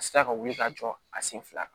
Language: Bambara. A sera ka wuli ka jɔ a sen fila kan